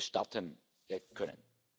mehr starten können.